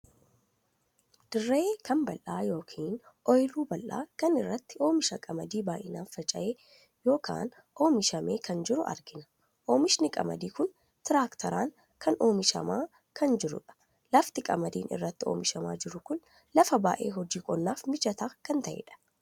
Dirree kan bal'aa ykn ooyiruu bal'aa kana irratti oomisha qamadii baay'inaan faca'ee ykn oomishamee kan jiru argina. oomishinni qamadii kun tiraakteeraan kan kan oomishama kan jiruudha. lafti qamadii irratti oomishamaa jiru kun lafa baay'ee hojii qonnaaf mijataa kan taheedha.